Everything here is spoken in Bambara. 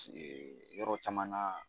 Yɔrɔ caman na.